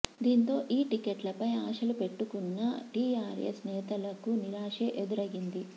దీంతో ఈ టిక్కెట్లపై ఆశలు పెట్టుకున్న టీఆర్ఎస్ నేతలకు నిరాశే ఎదురయ్యింది